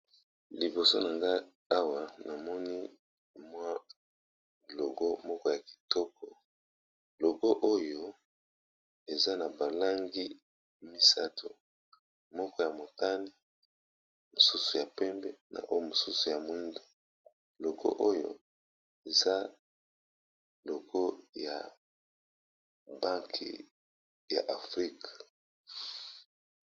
Liboso na ngai awa namoni mwa logo moko ya kitoko. Logo oyo eza na balangi misato moko ya montane, mosusu ya pembe na o mosusu ya moindu logo oyo eza logo ya banke ya afrika.